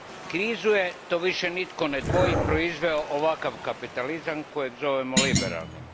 Krizu je, to više nitko ne dvoji, proizveo ovakav kapitalizam kojeg zovemo liberalnim.